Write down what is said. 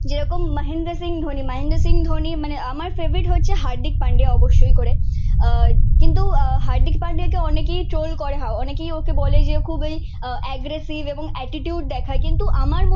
যেরকম মহেন্দ্র সিং ধোনি মহেন্দ্র সিং ধোনি মানে আমার ফেভারিট হচ্ছে হার্দিক পান্ডিয়া অবশ্যই করে। আহ কিন্তু হার্দিক পান্ডিয়াকে অনেকেই ট্রোল করে হয় অনেকেই ওকে বলে যে খুবই এগ্রেসিভ এবং এটিটিউড দেখায়। কিন্তু আমার আহ